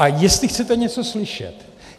A jestli chcete něco slyšet.